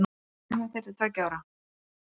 Allir semja þeir til tveggja ára.